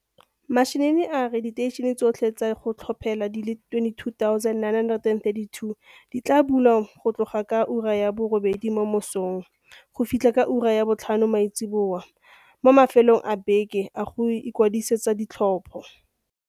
Mashinini a re diteišene tso tlhe tsa go tlhophela di le 22 932 di tla bulwa go tloga ka ura ya borobedi mo mososng go fitlha ka ura ya bo tlhano maitsiboa mo mafelong a beke a go ikwadisetsa ditlhopho.